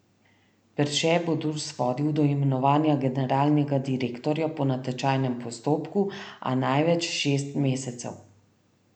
Perše bo Durs vodil do imenovanja generalnega direktorja po natečajnem postopku, a največ šest mesecev.